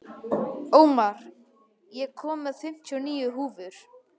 Ómar, ég kom með fimmtíu og níu húfur!